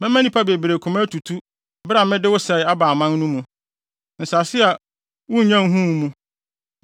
Mɛma nnipa bebree koma atutu bere a mede wo sɛe aba aman no mu, nsase a wunnya nhuu mu.